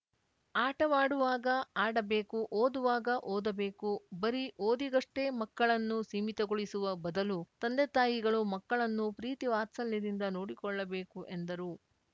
ಆಟವಾಡುವಾಗ ಆಡಬೇಕು ಓದುವಾಗ ಓದಬೇಕು ಬರೀ ಓದಿಗಷ್ಟೆಮಕ್ಕಳನ್ನು ಸೀಮಿತಗೊಳಿಸುವ ಬದಲು ತಂದೆತಾಯಿಗಳು ಮಕ್ಕಳನ್ನು ಪ್ರೀತಿ ವಾತ್ಸಲ್ಯದಿಂದ ನೋಡಿಕೊಳ್ಳಬೇಕು ಎಂದರು